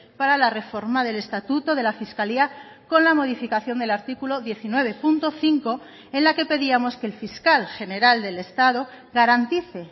para la reforma del estatuto de la fiscalía con la modificación del artículo diecinueve punto cinco en la que pedíamos que el fiscal general del estado garantice